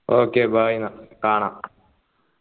okay bye ന്നാ കാണാം